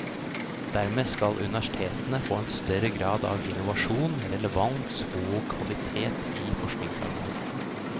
Dermed skal universitetene få en større grad av innovasjon, relevans og kvalitet i forskningsarbeidet.